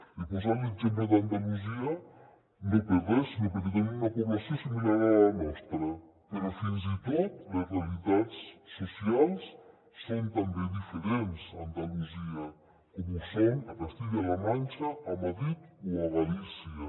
he posat l’exemple d’andalusia no per res sinó perquè tenen una població similar a la nostra però fins i tot les realitats socials són també diferents a andalusia com ho són a castella la manxa a madrid o a galícia